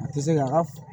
A tɛ se ka ka